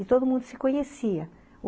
E todo mundo se conhecia.